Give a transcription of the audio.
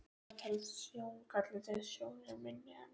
Það telst sjóngalli þegar sjón er minni en